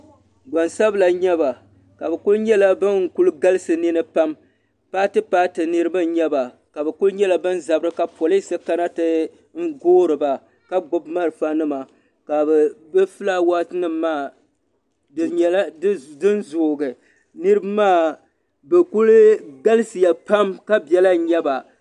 Gbansabila n nyɛba bi kuli nyɛla bin kuli galisi di ni pam paati paati Niriba n nyɛba ka bi ku nyɛla bi zami ka poliis kana ti goori ba ka gbubi malfa nima ka bi filaawaas nima maa di nyɛla din zoogi niriba maa bi kuli galisi ya pam ka bela n nyaba.